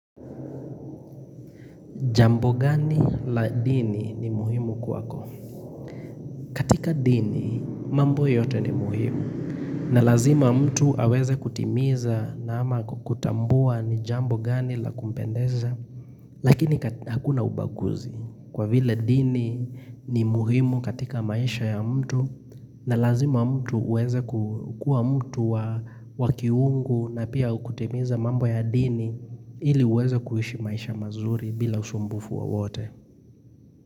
Jambo gani la dini ni muhimu kwako? Katika dini, mambo yote ni muhimu. Na lazima mtu aweze kutimiza na ama kutambua ni jambo gani la kumpendeza. Lakini hakuna ubaguzi. Kwa vile dini ni muhimu katika maisha ya mtu. Na lazima mtu uweza kukua mtu wa wakiungu na pia ukutimiza mambo ya dini ili uweza kuishi maisha mazuri bila usumbufu wa wote.